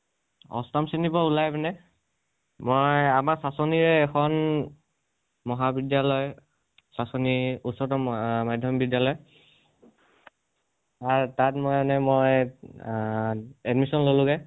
অষ্টম শ্ৰেণীৰ পৰা ওলাই পিনে, মই আমাৰ চাচনিৰে এখন মহাবিদ্য়ালয় চাচনি উচ্চাতৰ মহা মাধ্য়মিক বিদ্য়ালয় । আৰু তাত মই এনে মই অহ admission ললোগে